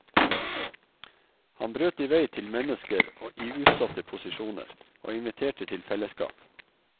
Han brøt vei til mennesker i utsatte posisjoner, og inviterte til fellesskap.